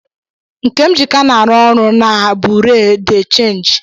Nkemjika na-arụ ọrụ na a bureau de change.